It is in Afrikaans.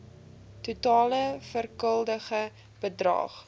totale verskuldigde bedrag